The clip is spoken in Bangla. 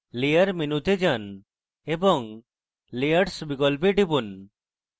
layer মেনুতে যান এবং layers বিকল্পে টিপুন